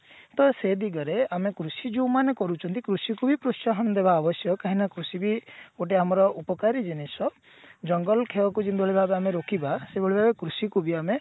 ଆଉ ସେ ଦିଗରେ ଆମେ କୃଷି ଯୋଉ ମାନେ କରୁଛନ୍ତି କୃଷିକୁ ବି ପ୍ରୋତ୍ସାହନ ଦବା ଆବଶ୍ୟକ କାହିଁକି ନା କୃଷି ବି ଗୋଟେ ଆମର ଉପକାରୀ ଜିନିଷ ଜଙ୍ଗଲ କ୍ଷୟକୁ ଜିଭଳି ଭାବେ ଆମେ ରୋକିବା ସେଇଭଳି ଭାବେ କୃଷି କୁ ବି ଆମେ